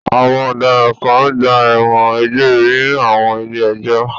Àwọn ọ̀daràn kan gba ẹ̀wọ̀n egbére ní àwọn ilé-ẹjọ́.